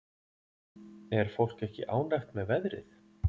Er fólk ekki ánægt með veðrið?